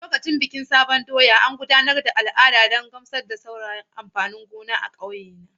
A lokacin bikin sabon doya, an gudanar da al'ada don gamsar da sauran amfanin gona a ƙauye na.